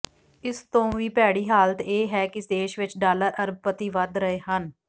ਇਸ ਤੋਂ ਵੀ ਭੈੜੀ ਹਾਲਤ ਇਹ ਹੈ ਕਿ ਦੇਸ਼ ਵਿੱਚ ਡਾਲਰ ਅਰਬਪਤੀ ਵੱਧ ਰਹੇ ਹਨ